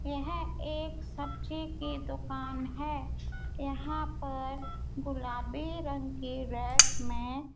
यह एक सब्जी की दुकान है यहां पर गुलाबी रंग के रैक में --